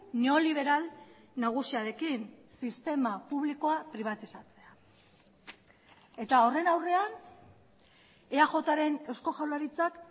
neoliberal nagusiarekin sistema publikoa pribatizatzea eta horren aurrean eajren eusko jaurlaritzak